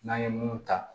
N'an ye mun ta